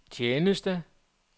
tjeneste